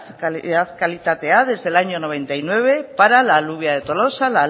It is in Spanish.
calidad kalitatea desde el año noventa y nueve para la alubia de tolosa